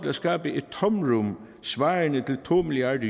at skabe et tomrum svarende til to milliard